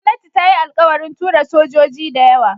Gwamnati ta yi alkawarin tura sojoji dayawa